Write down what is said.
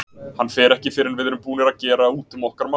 Hann fer ekki fyrr en við erum búnir að gera út um okkar mál.